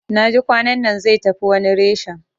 Naji kwanannan zai tafi wani reshen